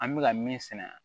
An bɛ ka min sɛnɛ